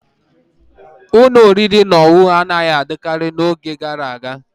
Ụlọ oriri na ọṅụṅụ anaghị adịkarị n'oge gara aga.